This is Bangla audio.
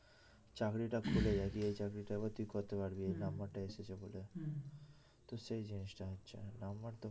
চাকরিটা খুলে যায় দিয়ে এই চাকরিটা তুই করতে পারবি নাম্বারটা এসেছে বলে তো সেই জিনিসটা হচ্ছে নাম্বারটা